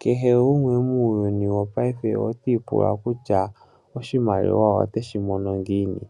Kehe gumwe muuyuni wopaife oti ipula kutya oshimaliwa ote shi mono ngiini.